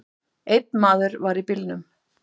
Einn maður var í bílnum.